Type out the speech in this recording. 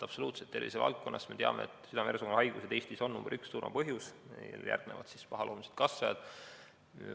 Absoluutselt, tervisevaldkonnas me teame, et südame-veresoonkonnahaigused on Eestis surmapõhjus nr 1, järgnevad pahaloomulised kasvajad.